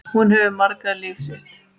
Hún hefur markað líf mitt.